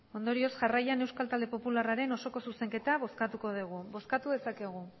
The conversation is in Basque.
jarraian euskal talde popularraren osoko zuzenketa bozkatuko degu bozkatu dezakegu